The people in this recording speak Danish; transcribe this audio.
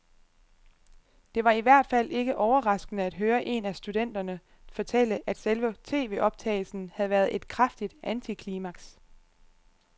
Det var i hvert fald ikke overraskende at høre en af studenterne fortælle, at selve tvoptagelsen havde været et kraftigt antiklimaks.